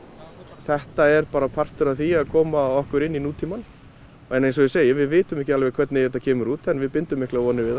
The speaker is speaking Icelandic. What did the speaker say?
þetta er bara partur af því að koma okkur inn í nútímann en eins og ég segi við vitum ekki alveg hvernig þetta kemur út en við bindum miklar vonir við það